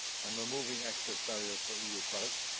and removing access barriers for EU products.